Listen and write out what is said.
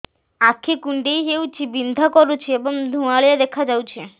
ଆଖି କୁଂଡେଇ ହେଉଛି ବିଂଧା କରୁଛି ଏବଂ ଧୁଁଆଳିଆ ଦେଖାଯାଉଛି